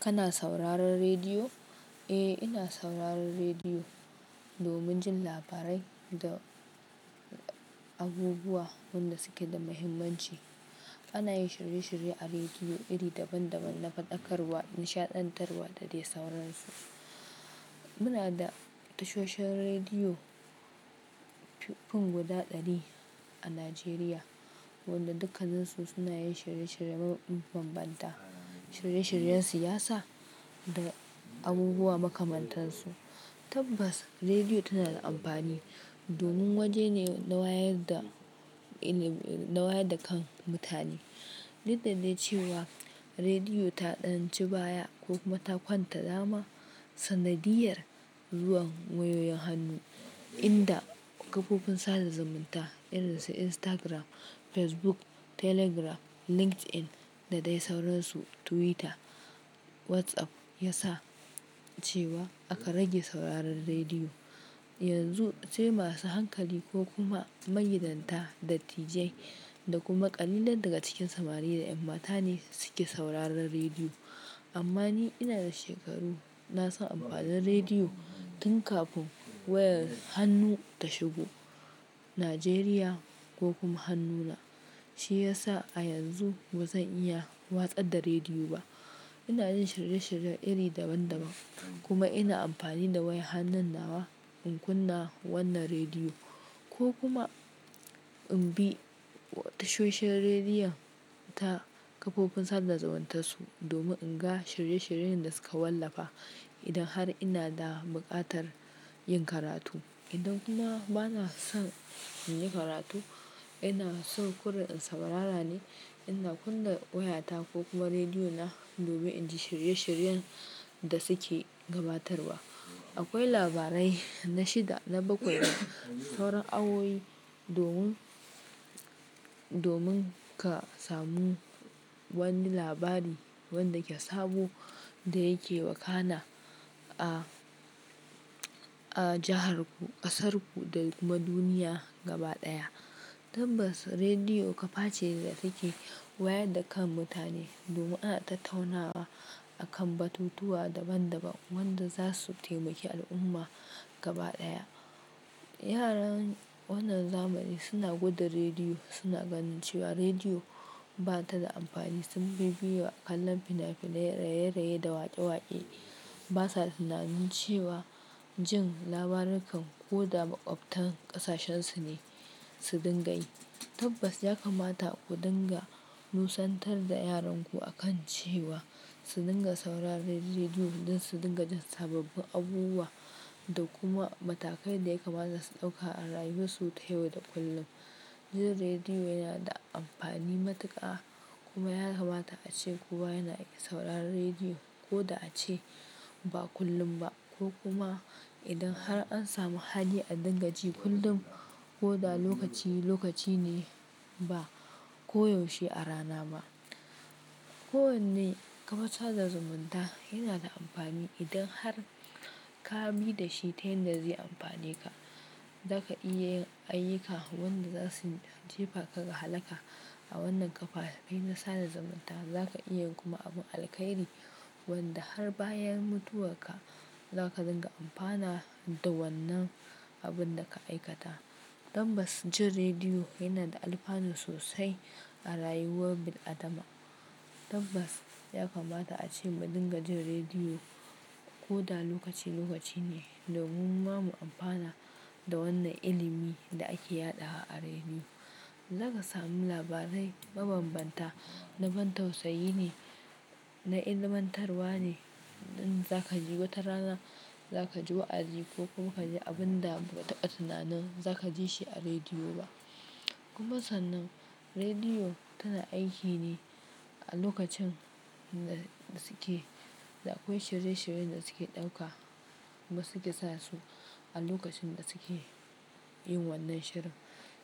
Kana sauraron rediyo? Eh, ina sauraron rediyo domin jin labarai da abubuwa wanda suke da muhimmanci. Ana yin shirye-shirye a rediyo iri daban-daban na faɗakarwa, nishaɗantarwa da dai sauransu. Muna da tashoshin rediyo fin guda ɗari a Najeriya, wanda dukkan su suna yin shirye-shirye mabambanta. Shirye-shiryen siyasa da abubuwa makamantan su. Tabbas, rediyo tana da amfani domin waje ne na wayar da, na wayar da kan mutane. Duk da ne cewa rediyo ta ɗan ci baya ko kuma ta kwanta dama sanadiyyar zuwan wayoyin hannu inda kafofin sada zumunta irin su Instagram, Facebook, Telegram, LinkedIn da dai sauransu, Twitter, WhatsApp ya sa cewa aka rage sauraron rediyo. Yanzu sai masu hankali ko kuma magidata, dattijai da kuma ƙalilan daga cikin samari da ƴan mata ne suke sauraron rediyo. Amma ni ina da shekaru, na san amfanin rediyo tun kafin wayar hannu ta shigo Najeriya ko kuma hannuna. Shi ya sa a yanzu ba zan iya watse da rediyo ba. Ina yin shirye-shirye iri daban-daban kuma ina amfani da wayar hannun nawa in kunna wannan rediyo ko kuma in bi tashoshin rediyon ta kafofin sada zumuntansu domin in ga shirye-shiryen da suka wallafa. Idan har ina da buƙatar yin karatu idan kuma bana son in yi karatu, ina so kurre in saurara ne, ina kunna wayata ko kuma rediyo na domin in ji shirye-shiryen da suke gabatarwa. Akwai labarai na shida na bakwai da sauran awoyi domin, domin ka samu wani labari wanda ke sabo da yake wakana a, a jihar ku, ƙasar ku da kuma duniya gaba ɗaya. Tabbas, rediyo kaface ce da take wayar da kan mutane domin ana ta taunawa akan batutuwa daban-daban wanda za su taimaki al'umma gaba ɗaya. Yaran wannan zamani suna gwada rediyo, suna ganin cewa rediyo ba ta da amfani. Sun bibiyewa kallon fina-finai, raye-raye da waƙe-waƙe. Ba sa tunanin cewa jin labaran kan ko da maƙwabtan ƙasashensu ne su dinga yi. Tabbas, ya kamata ku dinga busantar da yaranku akan cewa su dinga sauraron rediyo don su dinga jin sababbin abubuwa da kuma matakai da ya kamata su ɗauka a rayuwarsu ta yau da kullum. Jin rediyo yana da amfani matuƙa kuma ya kamata ace kuwa yana ake sauraron rediyo ko da ace ba kullum ba ko kuma idan har an samu hali a dinga ji kullum ko da lokaci lokaci ne ba ko yaushe a rana ba. Ko wanne ƙafafan sada zumunta yana da amfani idan har ka bi da shi ta yanda zai amfane ka. Za ka iya yin ayyuka wanda zasu jefa ka ga halaka a wannan ƙafafai na sada zumunta. Za ka iya kuma abun alkhairi wanda har bayan mutuwarka za ka dinga amfana da wannan abun da ka aikata. Tabbas, jin rediyo yana da alfanu sosai a rayuwar bil'adama. Tabbas, ya kamata ace mu dinga jin rediyo ko da lokaci lokaci ne domin ma mu amfana da wannan ilimi da ake yaɗawa a rediyo. Za ka samu labarai mabanbanta, na ban tausayi ne, na ilmantarwa ne. Inda za ka ji wata rana, za ka ji wa'azi ko kuma ka ji abun da ba ka taɓa tunanin za ka ji shi a rediyo ba. Kuma sannan rediyo tana aiki ne a lokacin da suke, da akwai shirye-shiryen da suke ɗauka. Wa suke sa su a lokacin da suke yin wannan shirin,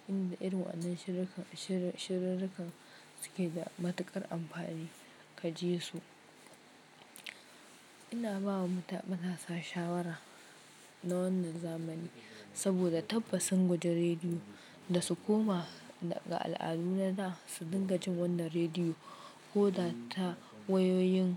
inda irin wannan shiri, shiri, shiri, shirarrukan suke da matuƙar amfani, ka ji su. Ina ba wa mutan kasasa shawara na wannan zamani saboda tabbasin gwajin rediyo da su koma ga al'adu na suna su dinga jin wannan rediyo ko da ta wayoyin.